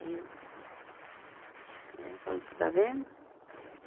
Aí eu, né eu falo está vendo?